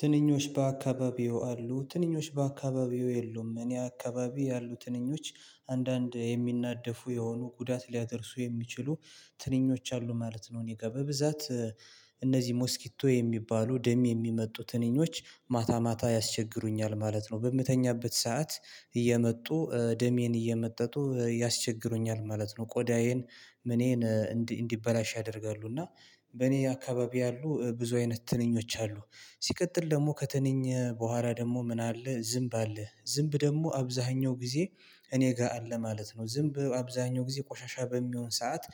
ትንኞች በአካባቢዎ አሉ ትንኞች በአካባቢዬ የሉም እኔ አካባቢ ያሉ ትንኞች አንዳንድ የሚናደፉ የሆኑ ጉዳት ሊያደርሱ የሚችሉ ትንኞች አሉ ማለት ነው። እኔ ጋር በብዛት እነዚህ ሞስኪቶ የሚባሉ ደም የሚመጡ ትንኞች ማታ ማታ ያስቸግሩኛል ማለት ነው። በምተኛበት ሰዓት እየመጡ ደሜን እየመጠጡ ያስቸግሮኛል ማለት ነው። ቆዳዬን ምኔን እንዲበላሽ ያደርጋሉ። እና በእኔ አካባቢ ያሉ ብዙ አይነት ትንኞች አሉ። ሲቀጥል ደግሞ ከተንኝ በኋላ ደግሞ ምን አለ ዝምብ አለ ዝምብ ደግሞ አብዛኛው ጊዜ እኔ ጋር አለ ማለት ነው። ዝምብ አብዛኛው ጊዜ ቆሻሻ በሚሆን ሰዓት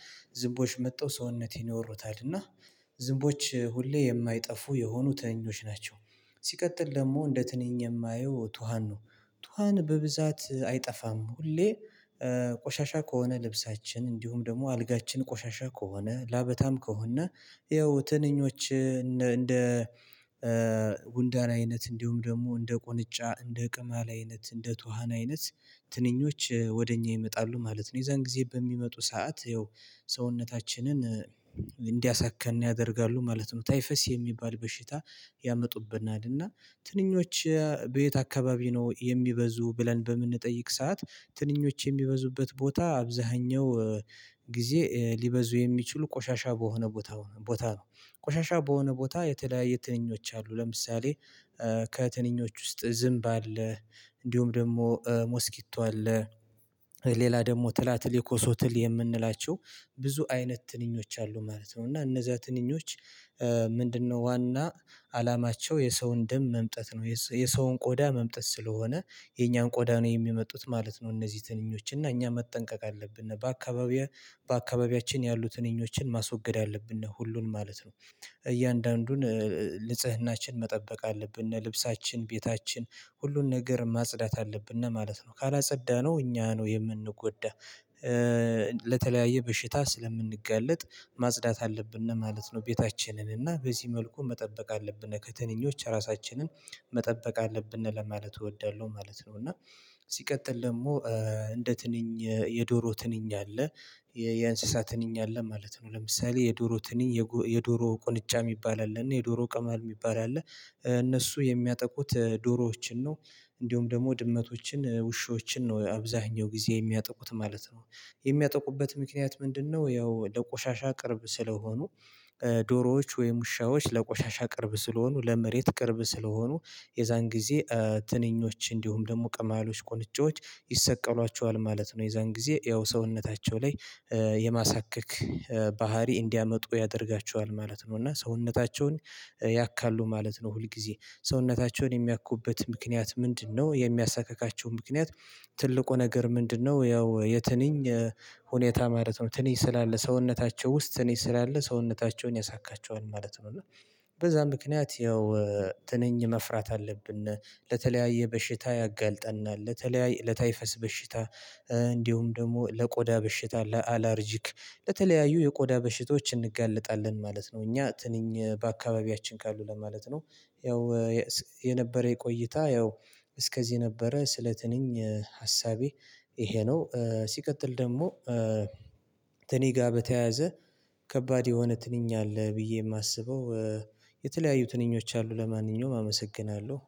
ዝምቦች መጥተው ሰውነቴን ይወሩታል። እና ዝንቦች ሁሌ የማይጠፉ የሆኑ ትንኞች ናቸው። ሲቀጥል ደግሞ እንደ ትንኝ የማየው ቱሃን ነው። ቱሃን በብዛት አይጠፋም። ሁሌ ቆሻሻ ከሆነ ልብሳችን እንዲሁም ደግሞ አልጋችን ቆሻሻ ከሆነ ላበታም ከሆነ ያው ትንኞች እንደ ጉንዳን አይነት እንዲሁም ደግሞ እንደ ቁንጫ እንደ ቅማል አይነት እንደ ቱሃን አይነት ትንኞች ወደ እኛ ይመጣሉ ማለት ነው። የዛን ጊዜ በሚመጡ ሰዓት ያው ሰውነታችንን እንዲያሳክከን ያደርጋሉ ማለት ነው። ታይፈስ የሚባል በሽታ ያመጡብናል። እና ትንኞች ቤት አካባቢ ነው የሚበዙት። ብለን በምንጠይቅ ሰዓት ትንኞች የሚበዙበት ቦታ አብዛኛው ጊዜ ሊበዙ የሚችሉ ቆሻሻ በሆነ ቦታ ቦታ ነው። ቆሻሻ የሆነ ቦታ የተለያየ ትንኞች አሉ። ለምሳሌ ከትንኞች ውስጥ ዝምብ አለ። እንዲሁም ደግሞ ሞስኪቶ አለ። ሌላ ደግሞ ትላትል የኮሶ ትል የምንላቸው ብዙ አይነት ትንኞች አሉ ማለት ነው። እና እነዛ ትንኞች ምንድነው? ዋና አላማቸው የሰውን ደም መምጠጥ ነው። የሰውን ቆዳ መምጠጥ ስለሆነ የኛን ቆዳን የሚመጡት ማለት ነው። እነዚህ ትንኞች እና እኛ መጠንቀቅ አለብን። በአካባቢያችን ያሉትን ትኞችን ማስወገድ ያለብን ነው ሁሉን ማለት ነው። እያንዳንዱን ንጽህናችንን መጠበቅ አለብን ልብሳችንን ቤታችንን ሁሉን ነገር ማጽዳት አለብን እና ማለት ነው ካላጸዳነው እኛ ነን የምንጎዳው። ለተለያየ በሽታ ስለምንጋለጥ ማጽዳት አለብን ማለት ነው። ቤታችንን እና በዚህ መልኩ መጠበቅ አለብን ከትንኞች ራሳችንን መጠበቅ አለብን ለማለት እወዳለሁ ማለት ነው። እና ሲቀጥል ደግሞ እንደ ትንኝ የዶሮ ትንኝ አለ። የእንስሳ ትንኝ አለ ማለት ነው። ለምሳሌ የዶሮ ትንኝ የዶሮ ቁንጫ የሚባል አለ እና የዶሮ ቅማል የሚባል አለ። እነሱ የሚያጠቁት ዶሮዎችን ነው። እንዲሁም ደግሞ ድመቶችን ውሾችን ነው አብዛኛው ጊዜ የሚያጠቁት ማለት ነው። የሚያጠቁበት ምክንያት ምንድነው? ያው ለቆሻሻ ቅርብ ስለሆኑ ዶሮዎች ወይም ውሻዎች ለቆሻሻ ቅርብ ስለሆኑ ለመሬት ቅርብ ስለሆኑ የዛን ጊዜ ትንኞች እንዲሁም ደግሞ ቅማሎች ቁንጫዎች ይሰቀሏቸዋል ማለት ነው። የዛን ጊዜ ያው ሰውነታቸው ላይ የማሳካክ ባህሪ እንዲያመጡ ያደርጋቸዋል ማለት ነው። እና ሰውነታቸውን ያካሉ ማለት ነው። ሁል ጊዜ ሰውነታቸውን የሚያኩበት ምክንያት ምንድነው? የሚያሳክካቸው ምክንያት ትልቁ ነገር ምንድነው? ያው የትንኝ ሁኔታ ማለት ነው ትንኝ ስላለ ሰውነታቸው ውስጥ ትንኝ ስላለ ሰውነታቸውን ያሳክካቸኃል ማለት ነው። በዛ ምክንያት ያው ትንኝ መፍራት አለብን። ለተለያየ በሽታ ያጋልጠናል ለተለያይ ለታይፈስ በሽታ። እንዲሁም ደግሞ ለቆዳ በሽታ ለአላርጂክ ለተለያዩ የቆዳ በሽቶች እንጋለጣለን ማለት ነው። እኛ ትንኝ በአካባቢያችን ካሉ ለማለት ነው። ያው የነበረ የቆይታ ያው እስከዚህ ነበረ ስለትንኝ ሀሳቤ ይሄ ነው። ሲቀጥል ደግሞ ከትነኝ ጋር በተያያዘ ከባድ የሆነ ትንኝ አለ ብዬ የማስበው የተለያዩ ትንኞች አሉ። ለማንኛውም አመሰግናለሁ።